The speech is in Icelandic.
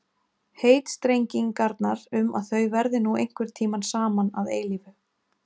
Heitstrengingarnar um að þau verði nú einhvern tíma saman að eilífu.